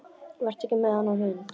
Vertu ekki með þennan hund.